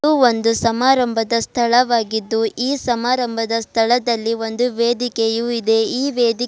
ಇದು ಒಂದು ಸಮಾರಂಭದ ಸ್ಥಳವಾಗಿದ್ದು ಈ ಸಮಾರಂಭದ ಸ್ಥಳದಲ್ಲಿ ಒಂದು ವೇದಿಕೆಯು ಇದೆ ಈ ವೇದಿ --